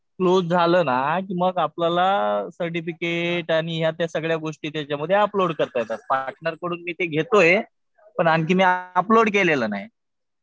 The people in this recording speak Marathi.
क्लोज झालं ना मग आपल्याला सर्टिफिकेट आणि ह्या त्या सगळ्या गोष्टी त्याच्यामध्ये अपलोड करता येतात. पार्टनरकडून मी ते घेतोय. पण आणखी मी अपलोड केलेलं नाही.